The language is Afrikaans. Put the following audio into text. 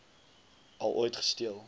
al ooit gesteel